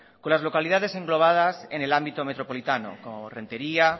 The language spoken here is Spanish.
con las localidades englobadas en el ámbito metropolitano como rentería